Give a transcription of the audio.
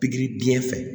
Pikiri diɲɛ fɛ